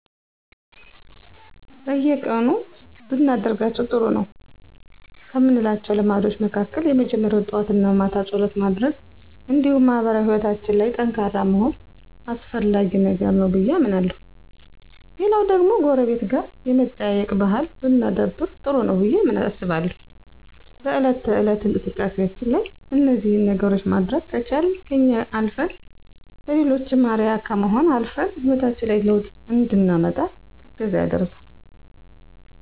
በየቀኑ ብናደርጋቸው ጥሩ ነው ከምላቸው ልምዶች መካከል የመጀመሪያው ጠዋት እና ማታ ፀሎት ማድረግ እንዲሁም ማህበራዊ ሕይወታችን ላይ ጠንካራ መሆን አስፈላጊ ነገር ነው ብዬ አምናለሁ። ሌላው ደግሞ ጎረቤት ጋር የመጠያየቅ ባህል ብናዳብር ጥሩ ነው ብዬ አስባለሁ። በእለት ተእለት እንቅስቃሴያችን ላይ እነዚህን ነገሮች ማድረግ ከቻልን ከኛ አልፈን ለሌሎችም አርአያ ከመሆንም አልፈን ሕይወታችን ላይ ለውጥ እንድናመጣ እገዛ ያደርጋል።